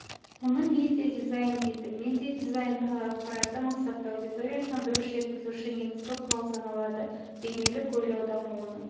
мұны медиадизайн дейді медиадизайн тағы ақпаратты мақсатты аудиториясына дұрыс жеткізуші негізгі құрал саналады бейнелік ойлау дамуының